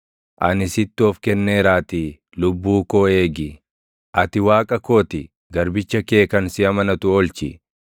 Ani sitti of kenneeraatii lubbuu koo eegi. Ati Waaqa koo ti; garbicha kee kan si amanatu oolchi.